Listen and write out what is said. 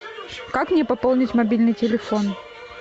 как мне пополнить мобильный телефон